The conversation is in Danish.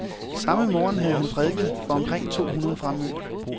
Samme morgen havde han prædiket for omkring to hundrede fremmødte.